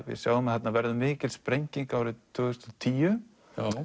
við sjáum að þarna verður mikil sprenging árið tvö þúsund og tíu